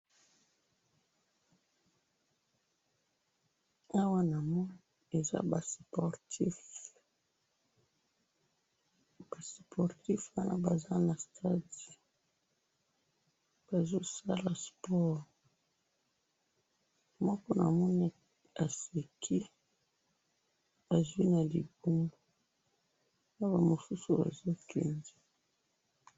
awa namoni eza ba sportife ba sportif wana baza na stade moko namoni aseki azwi na libumu naba mosusu bazokende